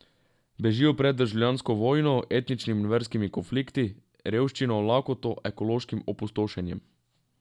Bežijo pred državljansko vojno, etničnimi in verskimi konflikti, revščino, lakoto, ekološkim opustošenjem.